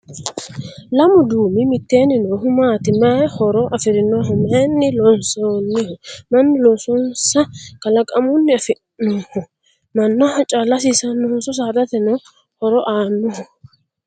Lamu duumi mittenni noohu maati? Maay horo afirinoho? Maayinni loonsoonniho? Mannu loosinohonso kalaqammunni afi'nanniho? Mannaho calla hasiisannohonso saadateno horo aannoho?